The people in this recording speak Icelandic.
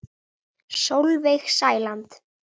Sólveig Sæland.